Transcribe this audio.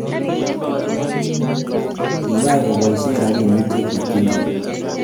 Kiyach kobaishe rabinik che kitinye